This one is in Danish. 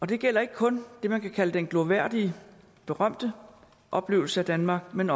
det gælder ikke kun det man kan kalde den glorværdige berømte oplevelse af danmark men